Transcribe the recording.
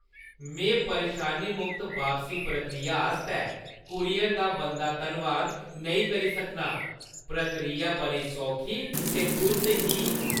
मैं परेशानी-मुक्त बापसी प्रक्रिया आस्तै कूरियर दा बनदा धन्नवाद नेईं करी सकनां; प्रक्रिया बड़ी सौखी ते तुर्त ही।